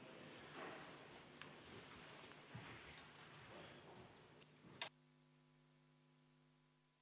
Istungi lõpp kell 11.21.